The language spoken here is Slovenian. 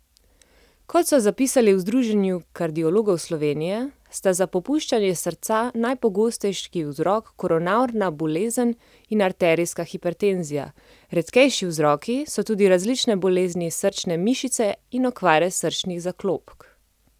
Kot so zapisali v Združenju kardiologov Slovenije, sta za popuščanje srca najpogostejši vzrok koronarna bolezen in arterijska hipertenzija, redkejši vzroki so tudi različne bolezni srčne mišice in okvare srčnih zaklopk.